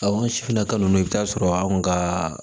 an sifinakaw i bɛ taa sɔrɔ anw ka